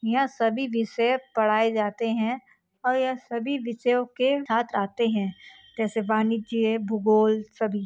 यहाँ सभी विषय पढ़ाए जाते हैं और यह सभी विषयों के छात्र आते हैं जैसे वाणिज्य भूगोल सभी--